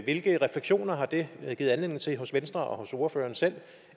hvilke refleksioner har det givet anledning til hos venstre og hos ordføreren selv